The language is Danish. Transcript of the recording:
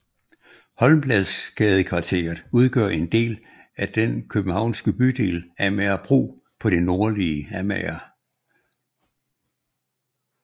Holmbladsgadekvarteret udgør en del af den Københavnske bydel Amagerbro på det nordlige Amager